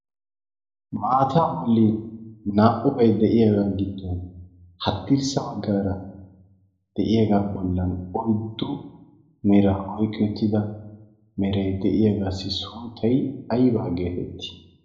maataa bolin naa''ubay de'iyaagaa giddon haddirssa baggaara de'iyaagaa bollan oyddo mera oyqqiyottida meray de'iyaagaassi sunttay aybbaa geetettii